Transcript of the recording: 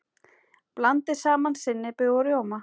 Blandið saman sinnepi og rjóma.